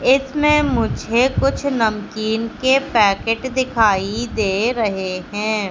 इसमें मुझे कुछ नमकीन के पेकेट दिखाई दे रहे हैं।